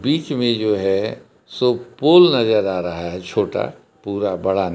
बीच में जो है सो पोल नजर आ रहा है छोटा पूरा बड़ा--